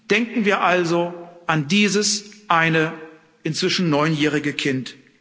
Denken wir also an dieses eine inzwischen neunjährige Kind.